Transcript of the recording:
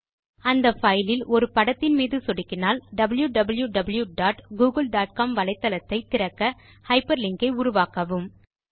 அந்த பைலில் ஒரு படத்தின் மீது சொடுக்கினால் wwwgooglecom வலத்தளத்தை திறக்க ஹைப்பர்லிங்க் ஐ உருவாக்கவும்